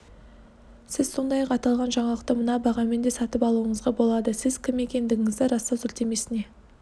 сіз сондай-ақ аталған жаңалықты мына бағамен де сатып алуыңызға болады сіз кім екендігіңізді растау сілтемесіне